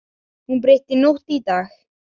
Hún breytti nótt í dag.